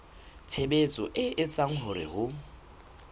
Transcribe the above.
tshebetso e etsang hore ho